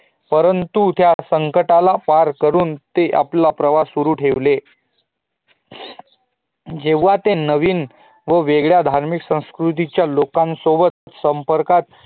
परंतु त्या संकटाना ट्ये पार करून ते आपलं प्रवास सुरू ठेवत जेव्हा ते नवीन व वेगळ्या धार्मिक संस्कृति च्य लोकांन सोबत संपर्कात